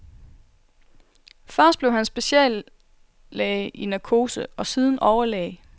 Først blev han speciallæge i narkose og siden overlæge.